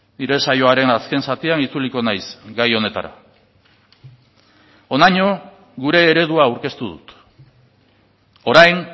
nire saioaren azken zatian itzuliko naiz gai honetara honaino gure eredua aurkeztu dut orain